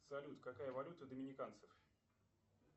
салют какая валюта доминиканцев